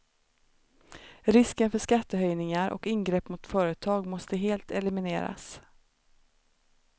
Risken för skattehöjningar och ingrepp mot företag måste helt elimineras.